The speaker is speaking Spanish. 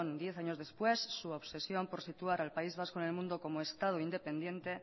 diez años después su obsesión por situar al país vasco en el mundo como estado independiente